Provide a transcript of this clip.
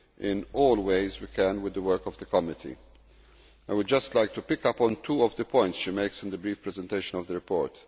in all ways we can with the work of the committee. I would just like to pick up on two of the points she makes in the brief presentation of the report.